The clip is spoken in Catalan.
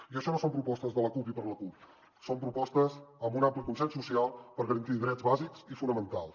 i això no són propostes de la cup i per la cup són propostes amb un ampli consens social per garantir drets bàsics i fonamentals